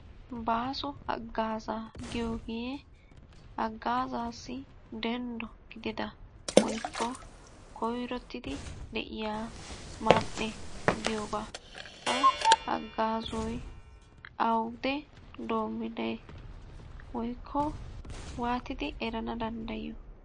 Baaso haggaazzaa giyogee haggaazaassi denddo gidida woykko koyirottidi de'iya man'e giyoogaa. Ha haggaazzoy awude doommidee woyikko waatidi erana danddayiyo?